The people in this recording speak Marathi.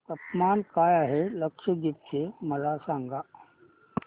तापमान काय आहे लक्षद्वीप चे मला सांगा